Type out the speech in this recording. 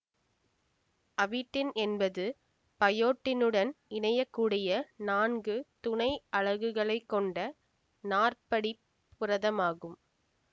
avidin என்பது பயோட்டினுடன் இணையக்கூடிய நான்கு துணை அலகுகளைக் கொண்ட நாற்படிப் புரதம் ஆகும்